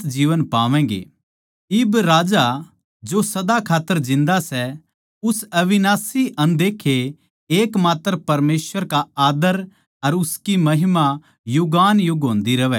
इब राजा जो सदा खात्तर जिन्दा सै उस अविनाशी अनदेक्खे एकमात्र परमेसवर का आद्दर अर उसकी महिमा युगानुयुग होंदी रहवै आमीन